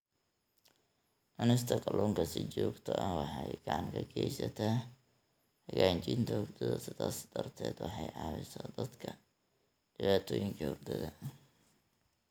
Cunista kalluunka si joogto ah waxay gacan ka geysataa hagaajinta hurdada, sidaas darteed waxay caawisaa dadka dhibaatooyinka hurdada.